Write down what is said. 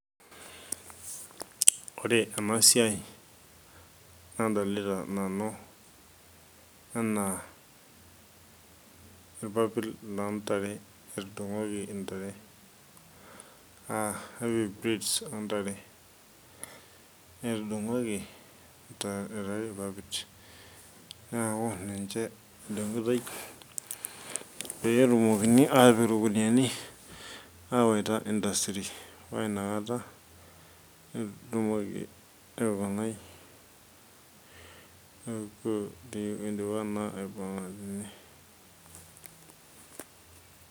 Ore ena siai nadolita nanu enaa irpapit loo ntare etudungoki intare ah irpapit loo ntare etudungoki aitayu irpapit neaku ninche edungitoi pee etumoki atipik irkuniyani awaita industry paa inakata etumoki awaita.